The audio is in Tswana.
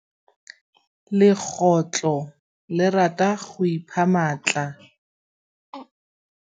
Legôtlô le rata go iphitlha mo thokô ga sekhutlo sa phaposi.